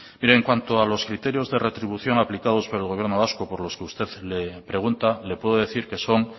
mire en cuanto a los criterios de retribución aplicados por el gobierno vasco por los que usted pregunta le puedo decir que son